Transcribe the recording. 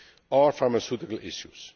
and pharmaceutical issues.